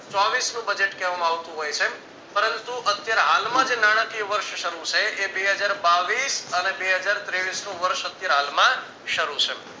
ચોવીશ નું budget કહેવામાં આવતું હોય છે પરંતુ અત્યારે હાલમાં જે નાણાકીય વર્ષ શરૂ છે એ બે હજાર બાવીશ અને બે હજાર તેવીશ નું વર્ષ અત્યારે હાલમાં શરૂ છે.